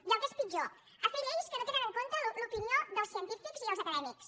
i el que és pitjor a fer lleis que no tenen en compte l’opinió dels científics i els acadèmics